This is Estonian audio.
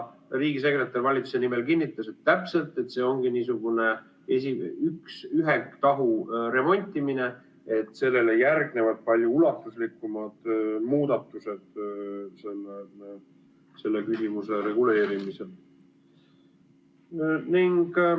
Riigisekretär valitsuse nimel kinnitas, et täpselt nii, see ongi niisugune ühe tahu remontimine, sellele järgnevad palju ulatuslikumad muudatused selle küsimuse reguleerimiseks.